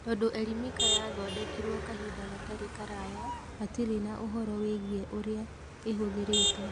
Tondũ Elimika yathondekirwo kahinda gatarĩ karaya, hatirĩ na ũhoro wĩgiĩ ũrĩa ĩhũthĩrĩtwo.